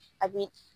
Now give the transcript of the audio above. A bi